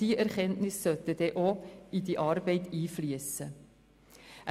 Diese Erkenntnisse sollten dann auch in die Arbeit einfliessen können.